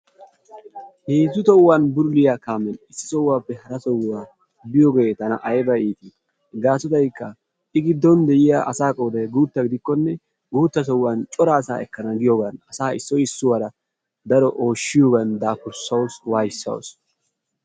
Heezzu tohuwaani bululiya kaamiyan issisaappe harasaa biyogee tana ayba iiti gaasoykka I giddon de'iya asa qooday guutta gidikkonne guutta sohuwaan cora asa ekkena giiyogan asaa asaara daro ooshshiyogan daafurssawusu waaysaasu.